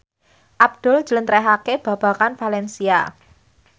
Abdul njlentrehake babagan valencia